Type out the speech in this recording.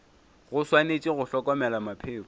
go swanetše go hlokomelwa mapheko